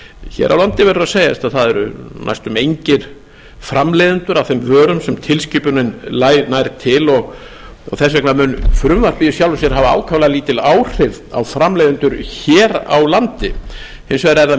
hér á landi verður að segjast að það eru næstum engir framleiðendur að þeim vörum sem tilskipunin nær til og þess vegna mun frumvarpið í sjálfu sér hafa ákaflega lítil áhrif á framleiðendur hér á landi hins vegar er